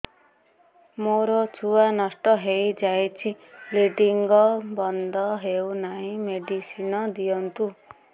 ମୋର ଛୁଆ ନଷ୍ଟ ହୋଇଯାଇଛି ବ୍ଲିଡ଼ିଙ୍ଗ ବନ୍ଦ ହଉନାହିଁ ମେଡିସିନ ଦିଅନ୍ତୁ